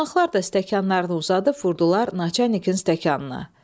Qonaqlar da stəkanlarını uzadıb vurdular naçalnikin stəkanına.